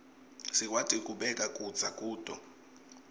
sikwati kubeka kudza kuto